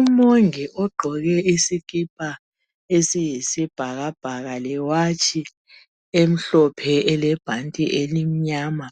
Umongi ogqoke isikipa esiyisibhakabhaka lewatshi emhlophe elebhanti elimnyama